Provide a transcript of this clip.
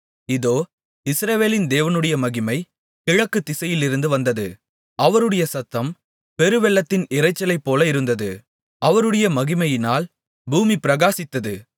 இதோ இஸ்ரவேலின் தேவனுடைய மகிமை கிழக்கு திசையிலிருந்து வந்தது அவருடைய சத்தம் பெருவெள்ளத்தின் இரைச்சலைப்போல இருந்தது அவருடைய மகிமையினால் பூமி பிரகாசித்தது